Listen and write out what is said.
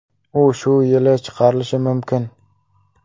U shu yil chiqarilishi mumkin.